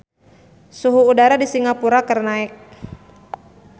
Suhu udara di Singapura keur naek